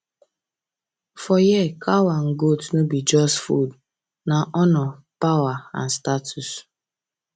for here cow and goat no be just food na honor power and status